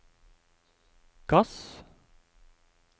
gass